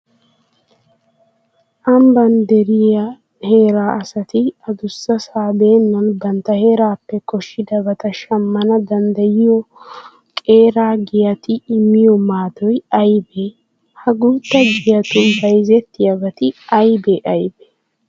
Ambban de'iya heeraa asati adussasaa beennan bantta heerappe koshshidabata shammana danddayiyo qeera giyati immiyo maadoy aybee? Ha guutta giyatun bayzettiyabati aybee aybee?